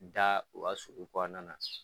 Da u ka sulu u kɔnɔna na